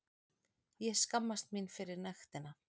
Ég skammast mín fyrir nektina.